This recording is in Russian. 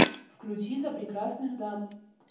включи за прекрасных дам